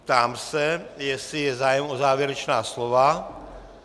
Ptám se, jestli je zájem o závěrečná slova.